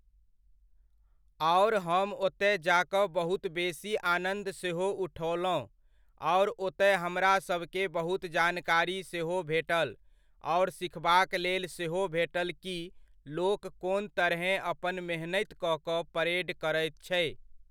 आर हम ओतय जा कऽ बहुत बेसी आनन्द सेहो उठओलहुँ आर ओतय हमरासभकेँ बहुत जानकारी सेहो भेटल आर सीखबाक लेल सेहो भेटल कि लोग कोन तरहेँ अपना मेहनत कऽ कऽ परेड करैत छै।